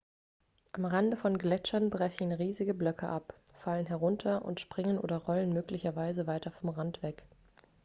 am rande von gletschern brechen riesige blöcke ab fallen herunter und springen oder rollen möglicherweise weiter vom rand weg